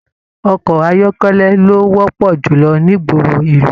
Ọkọ ayọkẹlẹ ló wọpọ julọ n'igboro ìlú.